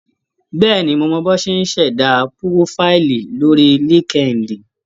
Bẹ́ẹ̀ni, mo mọ̀ bí wọ́n ti ń ṣẹ̀dá púrófáìlì lórí LinkedIn.